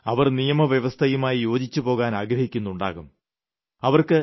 ഒരുപക്ഷേ അവർ നിയമവ്യവസ്ഥയുമായി യോജിച്ചുപോകാൻ ആഗ്രഹിക്കുന്നുണ്ടാകും